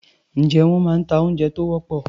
Ǹjé wọ́n máa ń ta oúnjẹ tó wọ́pọ̀?